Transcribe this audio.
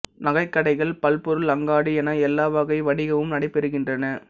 நகை கடைகள் பல்பொருள் அங்காடி என எல்லா வகை வணிகமும் நடைபெறுகின்றன